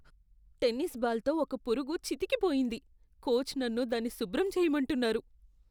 Tennis బాల్తో ఒక పురుగు చితికిపోయింది, కోచ్ నన్ను దాన్ని శుభ్రం చేయమంటున్నారు.